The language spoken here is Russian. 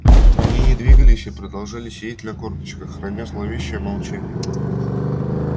они не двигались и продолжали сидеть на корточках храня зловещее молчание